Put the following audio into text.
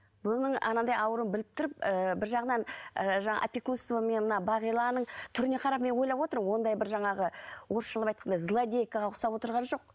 оның анандай ауруын біліп тұрып ііі бір жағынан і жаңа опекунстваның мына бағиланың түріне қарап мен ойлап отырмын ондай бір жаңағы орысшалап айтқанда злодейкаға ұқсап отырған жоқ